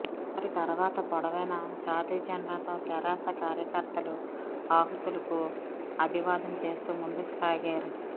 వారి తర్వాత పొడవైన జాతీయ జెండాతో తెరాస కార్యకర్తలు ఆహూతులకు అభివాదం చేస్తూ ముందుకుసాగారు